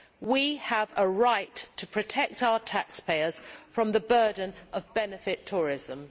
We have a right to protect our taxpayers from the burden of benefit tourism.